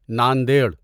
Nanded